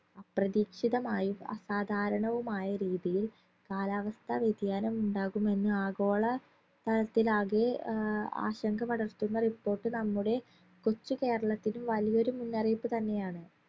അപ്രതീക്ഷിതമായും അസാധാരണവുമായ രീതിയിൽ കാലാവസ്ഥ വ്യതിയാനം ഉണ്ടാകുമെന്ന് ആഗോള തലത്തിലാകെ ആഹ് ആശങ്കപടർത്തുന്ന report നമ്മുടെ കൊച്ചു കേരളത്തിൽ വലിയൊരു മുന്നറിയിപ്പ് തന്നെയാണ്